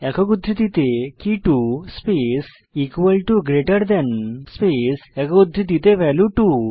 একক উদ্ধৃতিতে কে 2 একক উদ্ধৃতি space equal to greater than space একক উদ্ধৃতিতে ভ্যালিউ 2